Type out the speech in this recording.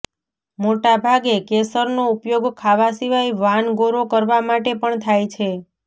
મોટા ભાગે કેસરનો ઉપયોગ ખાવા સિવાય વાન ગૌરો કરવા માટે પણ થાય છે